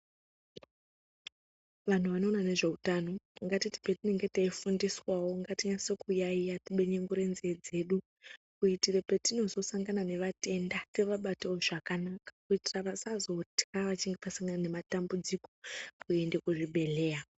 Vanhu vanoona ne zveutano ngatiti patinenge tichi fundiswawo ngati nase ku yayiya ti benyengurai nzee dzedu kuiitire petinozo sangana ne vatenda tivabatewo zvakanaka kuiitira vasazotya vachinge vasangana ne matambudziko kuende ku zvibhedhleya.